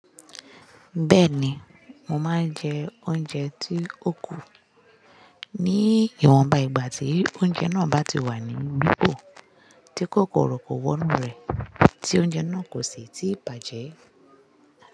Bẹ́ẹ̀ ni, mo máa ń jẹ oúnjẹ tí ó kù ní ìwọ̀nba ìgbà tí oúnjẹ náà bá ti wà ní gbígbó tí kòkòrò kò wọ inú rẹ̀, tí oúnjẹ náà kò sì ti bàjẹ́.